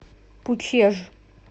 пучеж